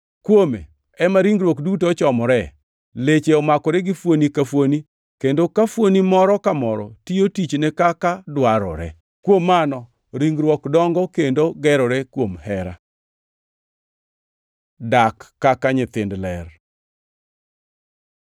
Kuome ema ringruok duto ochomore, leche omakore gi fuoni ka fuoni, kendo ka fuoni moro ka moro tiyo tichne kaka dwarore. Kuom mano ringruok dongo kendo gerore kuom hera. Dak kaka nyithind ler